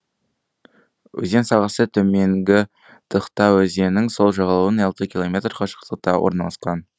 өзен сағасы төменгі тыхта өзенінің сол жағалауынан алты километр қашықтықта орналасқан